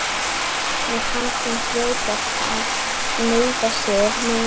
Mér fannst hún hljóta að meiða sig meira en ég.